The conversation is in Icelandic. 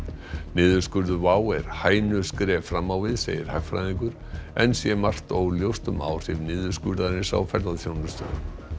niðurskurður WOW er hænuskref fram á við segir hagfræðingur enn sé margt óljóst um áhrif niðurskurðarins á ferðaþjónustuna